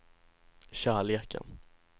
kärleken